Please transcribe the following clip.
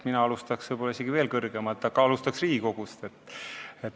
Mina alustaks isegi veel kõrgemalt – Riigikogust.